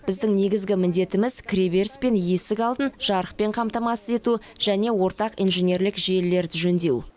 біздің негізгі міндетіміз кіреберіс пен есік алдын жарықпен қамтамасыз ету және ортақ инженерлік желілерді жөндеу